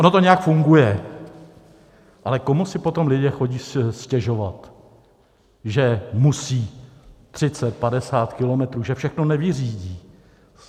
Ono to nějak funguje, ale komu si potom lidi chodí stěžovat, že musí 30, 50 kilometrů, že všechno nevyřídí?